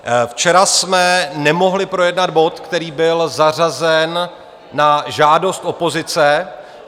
Včera jsme nemohli projednat bod, který byl zařazen na žádost opozice.